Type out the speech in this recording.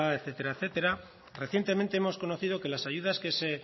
etcétera recientemente hemos conocido que las ayudas que se